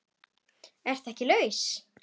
Ertu ekki laus?